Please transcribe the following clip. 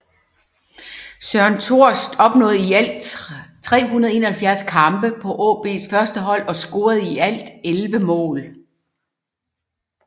Søren Thorst opnåede i alt 371 kampe på AaBs førstehold og scorede i alt 11 mål